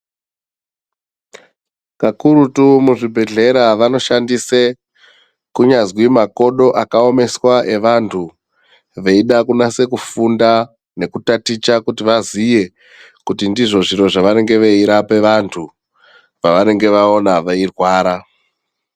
Pakurutu muzvibhehleya vanoshandise kunyazwi makodo akawomeswa evantu veida kunase kufunda nekutaticha kuti vaziye kuti ndizvo zviro zvavanenge veirape vantu pavanenge vaona veirwara.